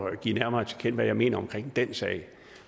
at give nærmere til kende hvad jeg mener om den sag